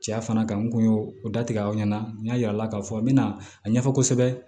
Cɛya fana kan n kun y'o o da tigɛ aw ɲɛna n y'a yira a la k'a fɔ a bɛna a ɲɛfɔ kosɛbɛ